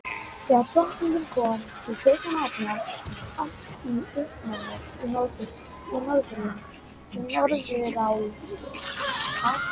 Þegar Drottningin kom til Kaupmannahafnar, var allt í uppnámi í Norðurálfu.